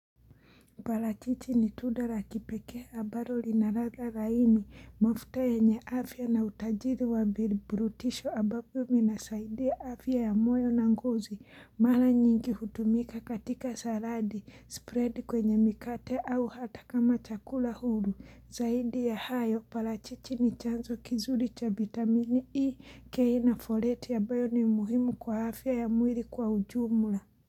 Parachichi ni tunda la kipeke ambayo lina ladha laini, mafuta yenye afya na utajiri wa viburutisho ambapo vinasaidia afya ya moyo na ngozi. Mara nyingi hutumika katika saladi, spread kwenye mikate au hata kama chakula huru. Zaidi ya hayo, parachichi ni chanzo kizuri cha vitamini E, K na foleti ya abayo ni muhimu kwa afya ya mwili kwa ujumula.